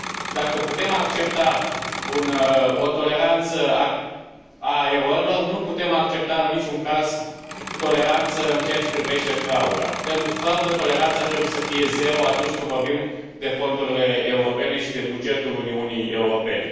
Dacă putem accepta o toleranță față de erori, nu putem accepta în niciun caz toleranță în ceea ce privește frauda. Pentru fraudă, toleranța trebuie să fie zero atunci când vorbim de fondurile europene și de bugetul Uniunii Europene.